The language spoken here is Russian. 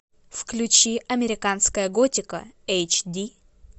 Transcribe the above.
включи американская готика эйч ди